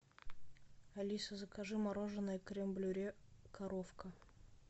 алиса закажи мороженое крем брюле коровка